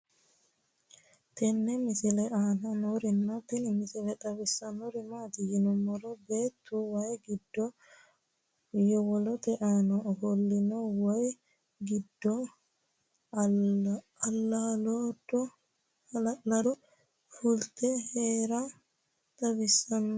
tenne misile aana noorina tini misile xawissannori maati yinummoro beettu wayii giddo yowolootte aanna offolassinna wayi giddo alaaddo fulitte Heera xawissanno